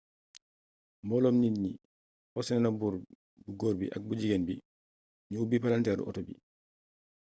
mbooloom nit ñi forsé na buur bu góor bi ak bu jigeen bi ñu ubbi palanteeru oto bi